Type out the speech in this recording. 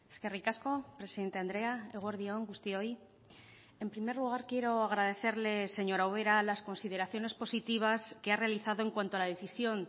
eskerrik asko presidente andrea eguerdi on guztioi en primer lugar quiero agradecerle señora ubera las consideraciones positivas que ha realizado en cuanto a la decisión